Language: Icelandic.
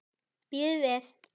Bíðið við!